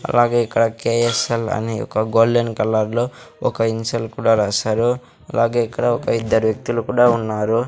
అలాగే ఇక్కడ కె_ఎస్_ఎల్ అని ఒక గోల్డెన్ కలర్ లో ఒక ఇన్సెల్ కూడా రాశారు అలాగే ఇక్కడ ఒక ఇద్దరు వ్యక్తులు కూడా ఉన్నారు.